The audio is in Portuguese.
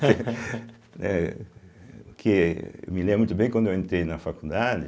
né porque eu me lembro muito bem quando eu entrei na faculdade.